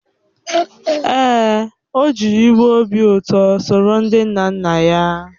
Èè, o jiriwo obi ụtọ soro ndị nna nna ya hà.